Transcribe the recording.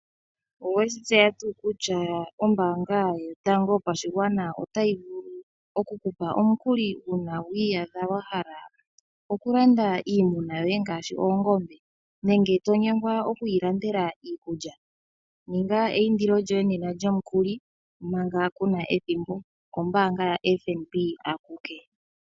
Oweshi tseya tuu kutya ombanga yotango yopashigwana ota yi vulu okukupa omukuli uuna wiiyadha wa hala okulanda iinima yoye ngaashi oongombe nenge to nyengwa okwiilandela iikulya? Ninga eyindilo lyoye nena lyomukuli manga kuna ethimbo okombanga yaFNB akuke.